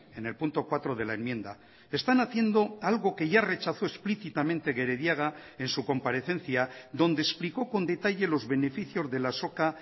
en el punto cuatro de la enmienda están haciendo algo que ya rechazó explícitamente gerediaga en su comparecencia donde explicó con detalle los beneficios de la azoka